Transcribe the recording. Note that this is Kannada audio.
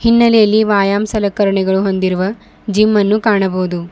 ಹಿನ್ನಲೆಯಲ್ಲಿ ವಾಯಮ್ ಸಲಕರಣೆಗಳು ಹೊಂದಿರುವ ಜಿಮ್ ಅನ್ನು ಕಾಣಬವುದು.